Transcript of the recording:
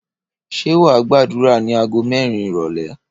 Ṣé wàá gbàdúrà ní aago mẹ́rin ìrọ̀lé